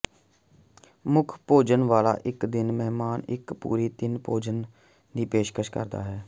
ਮੁੱਖ ਭੋਜਨਾਲਾ ਇੱਕ ਦਿਨ ਮਹਿਮਾਨ ਇੱਕ ਪੂਰੀ ਤਿੰਨ ਭੋਜਨ ਦੀ ਪੇਸ਼ਕਸ਼ ਕਰਦਾ ਹੈ